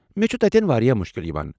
مےٚ چُھ تتیٚن واریاہ مُشکِل یِوان۔